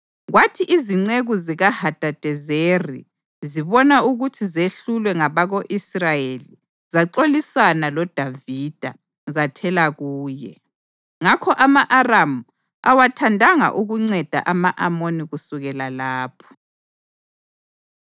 Kwathi izinceku zikaHadadezeri zibona ukuthi zehlulwe ngabako-Israyeli, zaxolisana loDavida, zathela kuye. Ngakho ama-Aramu awathandanga ukunceda ama-Amoni kusukela lapho.